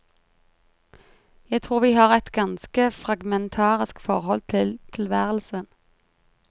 Jeg tror vi har et ganske fragmentarisk forhold til tilværelsen.